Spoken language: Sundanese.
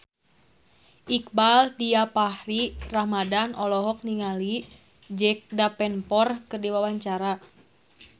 Iqbaal Dhiafakhri Ramadhan olohok ningali Jack Davenport keur diwawancara